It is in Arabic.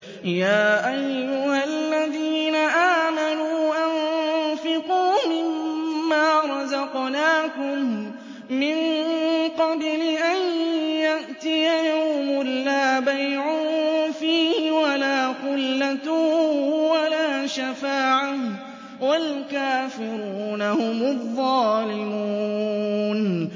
يَا أَيُّهَا الَّذِينَ آمَنُوا أَنفِقُوا مِمَّا رَزَقْنَاكُم مِّن قَبْلِ أَن يَأْتِيَ يَوْمٌ لَّا بَيْعٌ فِيهِ وَلَا خُلَّةٌ وَلَا شَفَاعَةٌ ۗ وَالْكَافِرُونَ هُمُ الظَّالِمُونَ